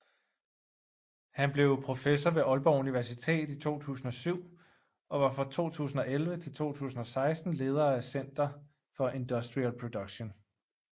Han blev professor ved Aalborg Universitet i 2007 og var fra 2011 til 2016 leder af Center for Industrial Production